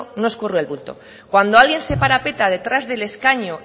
no escurre el bulto cuando alguien se parapeta detrás del escaño